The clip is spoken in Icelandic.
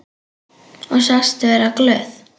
Og sagst vera glöð.